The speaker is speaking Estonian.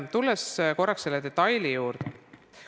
Tulen korraks selle detaili juurde.